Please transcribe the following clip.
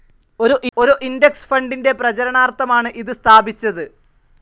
ഒരു ഇൻഡെക്സ്‌ ഫണ്ടിൻ്റെ പ്രചരണാർത്ഥമാണ് ഇത് സ്‌ഥാപിച്ചത്.